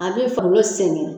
A be falo sɛnɛ.